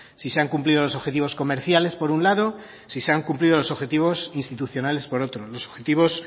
si se han cumplido los objetivos comerciales por un lado si se han cumplido los objetivos institucionales por otro los objetivos